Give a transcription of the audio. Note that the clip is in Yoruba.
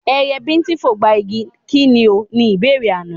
Ẹyẹ bíńtín fogba igi, kí ni o? Ni ìbéèrè àná.